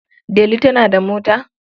Delu tana da mota?